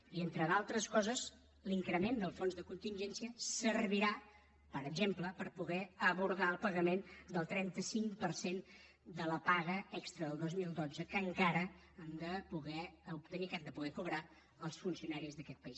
i entre d’altres coses l’increment del fons de contingència servirà per exemple per poder abordar el pagament del trenta cinc per cent de la paga extra del dos mil dotze que encara han de poder obtenir que han de poder cobrar els funcionaris d’aquest país